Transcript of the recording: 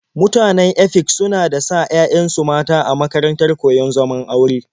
Mutanen Efik suna da sa 'ya'yansu mata a makarantar koyon zaman aure.